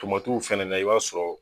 Tomatiw fɛnɛ na i b'a sɔrɔ.